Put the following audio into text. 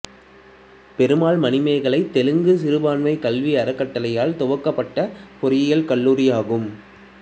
பெருமாள் மணிமேகலை தெலுங்கு சிறுபான்மை கல்வி அறக்கட்டளையால் துவக்கப்பட்ட பொறியியல் கல்லூரி ஆகும்